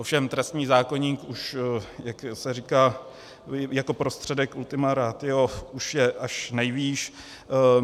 Ovšem trestní zákoník už, jak se říká jako prostředek ultima ratio, už je až nejvýš.